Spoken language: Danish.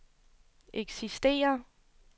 eksisterer